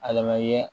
A lamɛn